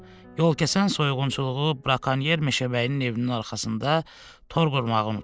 Yolkəsən soyğunçuluğu, brakonyer meşəbəyinin evinin arxasında tor qurmağı unutdu.